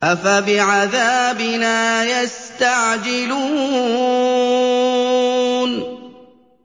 أَفَبِعَذَابِنَا يَسْتَعْجِلُونَ